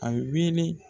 A wele